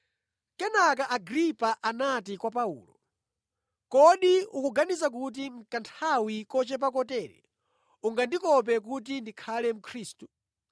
Kenaka Agripa anati kwa Paulo, “Kodi ukuganiza kuti mʼkanthawi kochepa kotere ungandikope kuti ndikhale Mkhristu?”